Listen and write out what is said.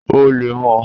O leè mo